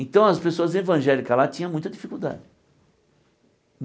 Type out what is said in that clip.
Então as pessoas evangélicas lá tinha muita dificuldade.